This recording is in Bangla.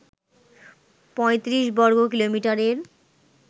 ৩৫ বর্গ কিলোমিটারের